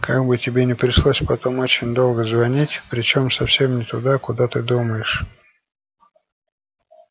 как бы тебе не пришлось потом очень долго звонить причём совсем не туда куда ты думаешь